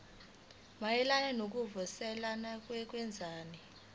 mayelana nokuvuselela kwezwekazi